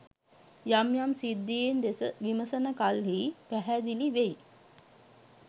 යම් යම් සිද්ධීන් දෙස විමසන කල්හි පැහැදිලි වෙයි.